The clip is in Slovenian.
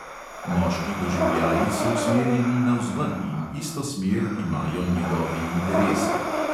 Moški doživljaji so usmerjeni navzven in isto smer imajo njegovi interesi.